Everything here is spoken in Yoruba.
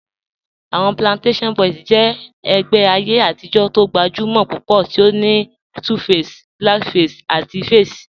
Awọn Plantashun Boys jẹ ẹgbẹ ayé atijọ̀ tó gbajúmọ̀ púpọ̀ tí ó ní 2face, Blackface àti Faze.